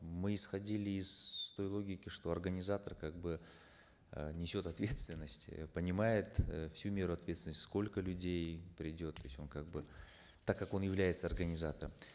мы исходили из той логики что организатор как бы э несет ответственность э понимает э всю меру ответственности сколько людей придет то есть он как бы так как он является организатором